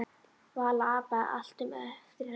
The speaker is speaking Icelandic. Vala apaði allt upp eftir henni.